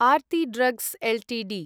Aarti drugs Ltd